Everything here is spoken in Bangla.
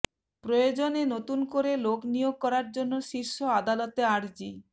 প্রয়োজনে নতুন করে লোক নিয়োগ করার জন্য শীর্ষ আদালতে আর্জি